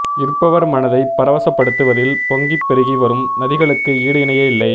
ர்ப்பவர் மனதைப் பரவசப்படுத்துவதில் பொங்கிப் பெருகி வரும் நதிகளுக்கு ஈடு இணையே இல்லை